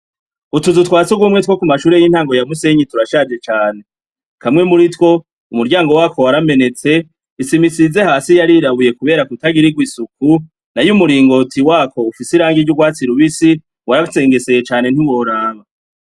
Utuzu twa sugumwe two kumashure y'intango ya Musenyi turashaje cane. Kamwe muritwo, umuryango watwo waramenetse, isima isize hasi yarirabuye kubera kutagirigwa isuku, nay'umuringoti wako ufis'irangi ry'ugwatsi rubisi ,warasengeseye cane ntiworaba.